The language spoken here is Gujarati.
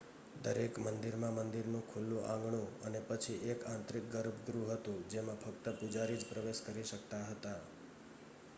દરેક મંદિરમાં મંદિરનું ખુલ્લું આંગણું અને પછી એક આંતરિક ગર્ભગૃહ હતું જેમાં ફક્ત પૂજારી જ પ્રવેશ કરી શકતા હતા